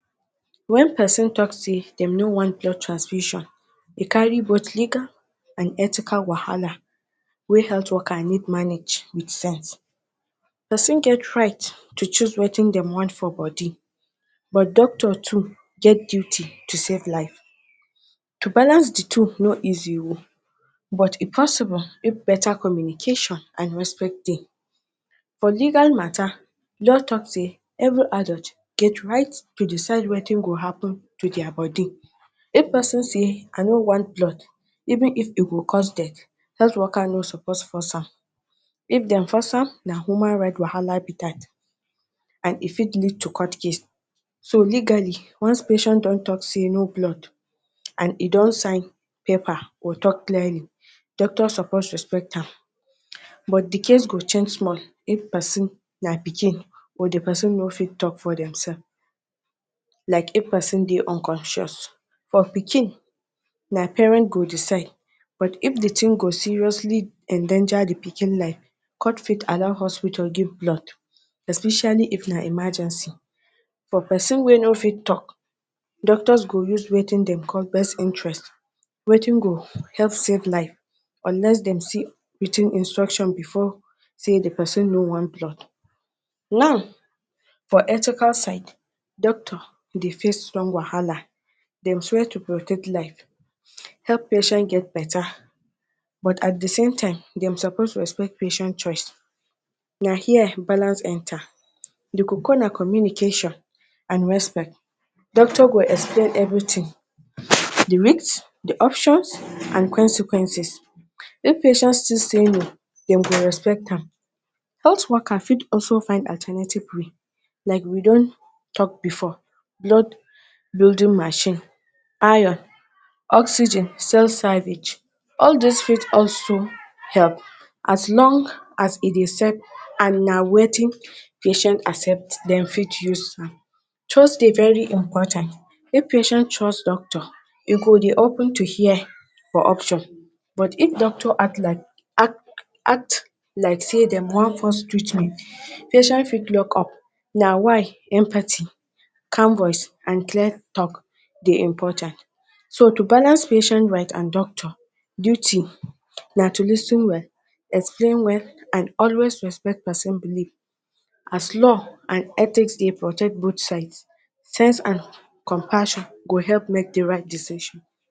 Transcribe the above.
When person talk sey dem no want take transfusion e carry but legal and ethical wahala wey health worker need manage with sense. person get right to choose wetin dem want for body but doctors to get duty to save life. to balance the two no easy oo but e possible when beta communication and respect de. For legal, mata law talk sey every adult get right to decide wetin go happen to their body, if person sey I no blood even if e go cause dead health worker no suppose force am if dem force am na human right wahala be dat and e fit lead to court case. so legally once patient don talk sey no blood and e don sign pepper or talk clearly doctor suppose respect am but de case go change small if person na pikin or de person no fit talk for themselves like if person de unconscious for pikin na parent go decide but if de thing go seriously endanger de pikin life court fit allow hospital give de blood especially if na emergency but for person wey no fit talk doctors go use wetin dem de call best interest wetin go help save life unless dem see wetin instruction before sey de person no want blood. now for ethical side doctor de face strong wahala dem swear to protect life, help patient get beta but at de same time dem suppose to respect patient choice na hear balance enter we could call am communication and respect. Doctor go explain everything de risk, options and consequence if patient still sey no dem go respect am. health worker fit also fine alternative way like we don talk before blood building machine, iron oxygen cell selvage all these fit also help as long as e dey serve as wetin patient accept dem fit use am. trust de very important if patient trust doctor e go de open to hear for option but if doctor act like act, act like sey dem wan force treatment patient fit lock up na why empathy, calm voice and clear talk de important so to balance patient right and doctor duty na to lis ten well explain well and always respect person believe as law and ethics dey protect both side sense and compassion go help make de right decision